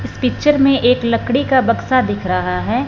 इस पिक्चर में एक लकड़ी का बक्सा दिख रहा है।